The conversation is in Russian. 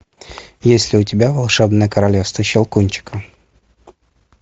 есть ли у тебя волшебное королевство щелкунчика